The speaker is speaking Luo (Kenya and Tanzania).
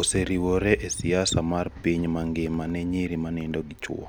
oseriwore e siasa mar piny mangima ne nyiri ma nindo gi chwo.